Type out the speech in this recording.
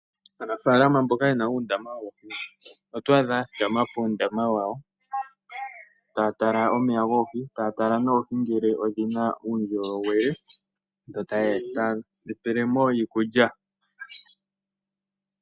Aanafalama mboka ye na uundama woohi oto adha ya thikama puundama wawo taya tala omeya goohi, taya talanoohi ngele odhi na uundjolowele yo taye dhi pele mo iikulya.